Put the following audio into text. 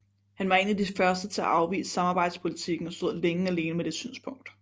Han var en af de første til at afvise samarbejdspolitikken og stod længe alene med det synspunkt